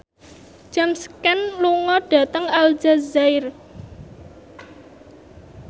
James Caan lunga dhateng Aljazair